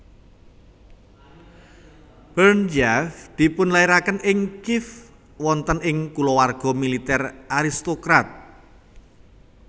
Berdyaev dipunlairaken ing Kiev wonten ing kulawarga militer aristokrat